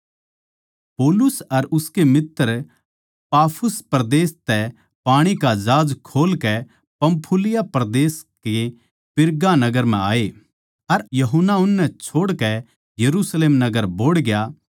पौलुस अर उसके मित्तर पाफुस परदेस तै पाणी का जहाज खोल कै पंफूलिया परदेस के पिरगा नगर म्ह आये अर यूहन्ना उननै छोड़कै यरुशलेम नगर बोहड़ गया